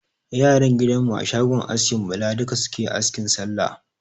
Yaran gidan mu a shogon askin Bala duka suke asking Sallah.